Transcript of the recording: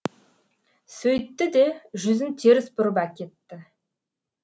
сөйтті де жүзін теріс бұрып әкетті